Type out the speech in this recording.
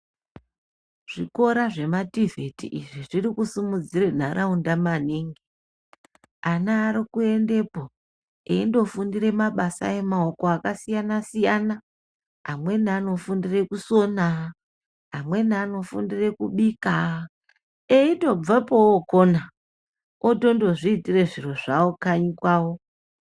Zvikora zvemativhiti izvi zviri kusimudzire nharaunda maningi, ana ari kuendepo eindofundira mabasa emaoko akasiyana siyana, amweni anofundire kusona amweni anofundire kubika eitobvepo otokona otondo zviitire zviro zvawo kanyi kwawo.